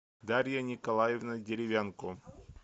дарья николаевна деревянко